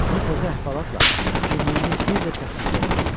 Bu təzə əhvalatla kimliyini bir də təsdiqləyəcəkdi.